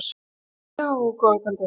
Já, góða kvöldið.